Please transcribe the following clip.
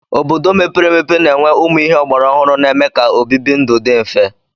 Obodo mepere emepe na-enwe ụmụ ihe ọgbara ọhụrụ na-eme ka obibi ndụ dị mfe.